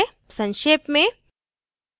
संक्षेप में